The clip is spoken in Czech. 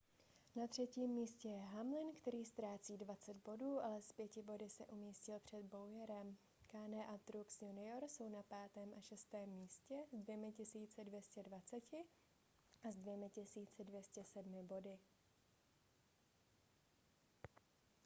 na třetím místě je hamlin který ztrácí 20 bodů ale s pěti body se umístil před bowyerem kahne a truex jr jsou na 5. a 6. místě s 2 220 a 2 207 body